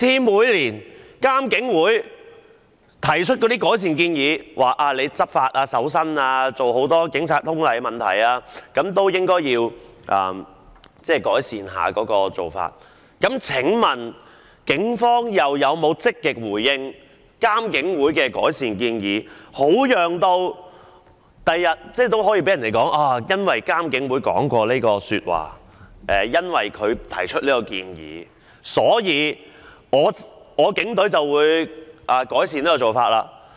每年監警會也會提出改善建議，以改善在執法、搜身及警察通例方面的種種做法，請問警方有否積極回應監警會的改善建議，好讓警方日後可以向大家表示他們已因應監警會的意見和建議改善相關做法？